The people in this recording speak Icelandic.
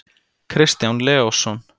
kristján leósson